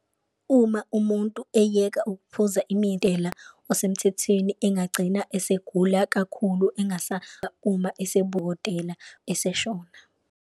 Uma umuntu eyeka ukuphuza osemthethwini engagcina esegula kakhulu uma eseshona.